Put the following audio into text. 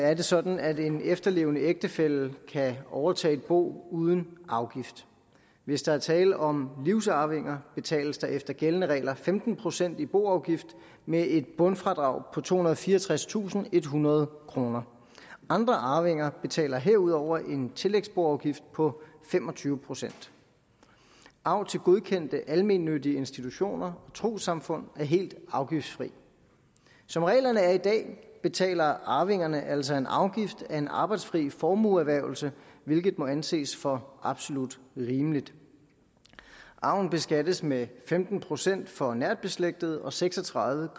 er det sådan at en efterlevende ægtefælle kan overtage et bo uden afgift hvis der er tale om livsarvinger betales der efter gældende regler femten procent i boafgift med et bundfradrag på tohundrede og fireogtredstusindethundrede kroner andre arvinger betaler herudover en tillægsboafgift på fem og tyve procent arv til godkendte almennyttige institutioner og trossamfund er helt afgiftsfri som reglerne er i dag betaler arvingerne altså en afgift af en arbejdsfri formueerhvervelse hvilket må anses for absolut rimeligt arven beskattes med femten procent for nært beslægtede og seks og tredive